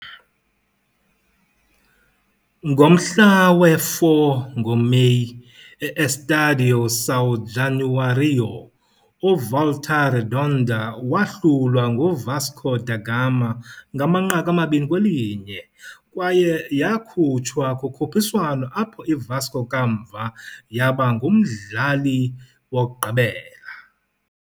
Ngomhla we-4 ngoMeyi, e -Estádio São Januário, uVolta Redonda wahlulwa nguVasco da Gama 2-1 kwaye yakhutshwa kukhuphiswano apho iVasco kamva yaba ngumdlali wokugqibela.